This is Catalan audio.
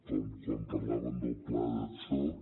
com quan parlàvem del pla de xoc